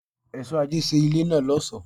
Èso àjẹ́ ṣe ilé náà lọ́sọ̀ọ́.